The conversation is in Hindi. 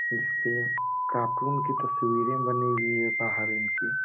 इसपे कार्टून की तस्वीरे बनी हुई है बाहड़ इनकी --